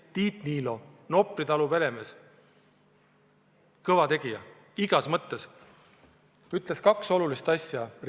Tiit Niilo, Nopri talu peremees ja kõva tegija igas mõttes, ütles "Ringvaate" saates kaks olulist asja.